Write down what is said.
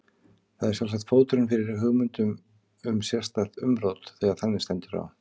Það er sjálfsagt fóturinn fyrir hugmyndum um sérstakt umrót þegar þannig stendur á.